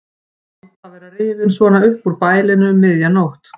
Vont að vera rifinn svona upp úr bælinu um miðja nótt.